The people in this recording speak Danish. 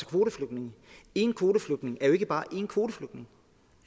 kvoteflygtninge én kvoteflygtning er jo ikke bare én kvoteflygtning